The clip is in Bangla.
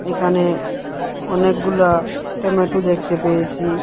এখানে অনেকগুলা টেমাটো দেখতে পেয়েসি।